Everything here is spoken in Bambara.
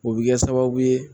O bɛ kɛ sababu ye